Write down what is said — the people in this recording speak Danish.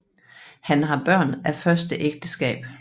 Han har Børn af første Ægteskab